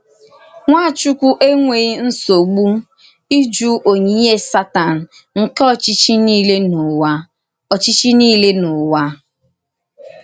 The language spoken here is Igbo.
Nwàchùkwù ènwèghì nsọ́gbù ịjụ onyìnyè Sátán nke óchí̄chí̄ niile n’ụ̀wà. óchí̄chí̄ niile n’ụ̀wà.